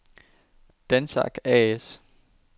Dansac A/S